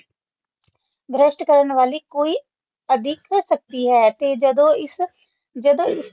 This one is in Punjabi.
ਭ੍ਰਸ਼ਟ ਕਰਨ ਵਾਲੀ ਕੋਈ ਅਧਿਕ ਸ਼ਕਤੀ ਹੈ ਤੇ ਜਦੋ ਇਸ ਜਦੋ